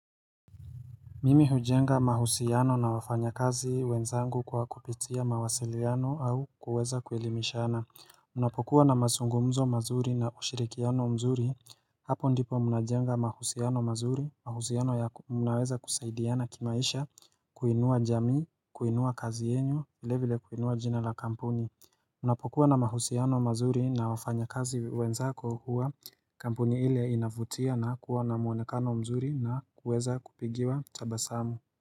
Mimi hujenga mahusiano na wafanya kazi wenzangu kwa kupitia mawasiliano au kuweza kuelimishana Unapokuwa na mazungumzo mazuri na ushirikiano mzuri Hapo ndipo mnajenga mahusiano mazuri, mahusiano ya unaweza kusaidiana kimaisha kuinua jamii, kuinua kazi yenyu, vile vile kuinua jina la kampuni Unapokuwa na mahusiano mazuri na wafanya kazi wenzako huwa kampuni ile inavutia na kuwa na mwonekano mzuri na kuweza kupigiwa tabasamu.